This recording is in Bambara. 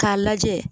K'a lajɛ